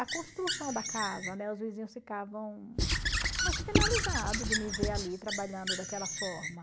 A construção da casa, né, os vizinhos ficavam, acho, penalizados de me ver ali trabalhando daquela forma.